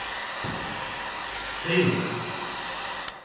tveimur